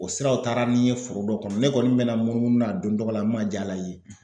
O siraw taara ni n ye foro dɔ kɔnɔ, ne kɔni mina munumunu n'a don dɔ la n ma jala yen